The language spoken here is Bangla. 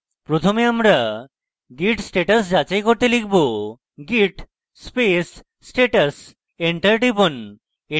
প্রথমে আমরা git status যাচাই করতে লিখব git space status enter টিপুন